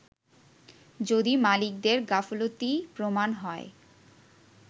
যদি মালিকদের গাফলতি প্রমান হয়